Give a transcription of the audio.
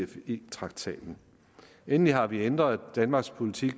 cfe traktaten endelig har vi ændret danmarks politik